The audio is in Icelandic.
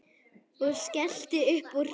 Og skellti upp úr.